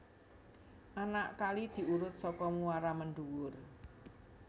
Anak kali diurut saka muara mendhuwur